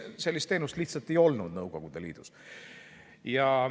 Sellist teenust lihtsalt ei olnud Nõukogude Liidus.